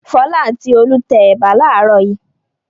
Fọlá àti Olú tẹ ẹ̀bà láàárọ̀ yìí.